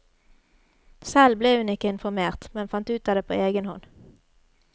Selv ble hun ikke informert, men fant ut av det på egen hånd.